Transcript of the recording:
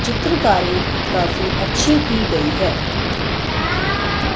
चित्रकारी काफी अच्छी की गई हैं।